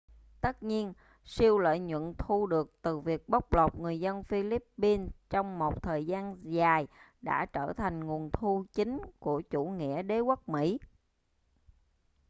tất nhiên siêu lợi nhuận thu được từ việc bóc lột người dân philippines trong một thời gian dài đã trở thành nguồn thu chính của chủ nghĩa đế quốc mỹ